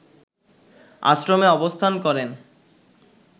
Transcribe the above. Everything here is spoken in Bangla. আশ্রমে অবস্থান করেন